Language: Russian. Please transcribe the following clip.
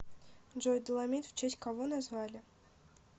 джой доломит в честь кого назвали